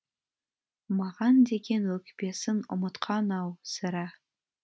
маған деген өкпесін ұмытқан ау сірә